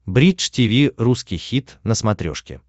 бридж тиви русский хит на смотрешке